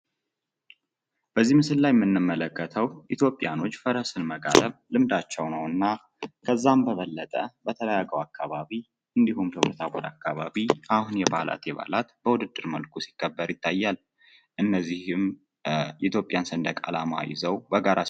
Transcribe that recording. በዚህ ምስል ላይ የምመለከተው ኢትዮጵያኖች ፈረስን መጋለብ ልምዳቸው ነውና ፤ ከዛም በበለጠ በተለይ አገው አከባቢ እንዲሁም ደብረታቦር አከባቢ አሁን የበአላት የበአላት በዉድድር መልኩ ሲከበር ይታያል ፤ እነዚህም የኢትዮጵያን ሰንደቅ አላማ ይዘው በጋራ ይታያሉ።